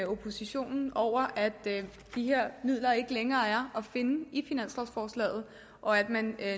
oppositionen over at de her midler ikke længere er at finde i finanslovforslaget og at man